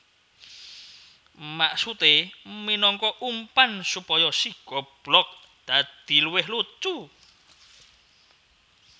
Maksudé minangka umpan supaya si goblog dadi luwih lucu